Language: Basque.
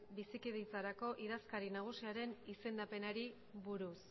bizikidetzarako idazkari nagusiaren izendapenari buruz